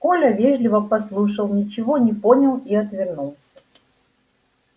коля вежливо послушал ничего не понял и отвернулся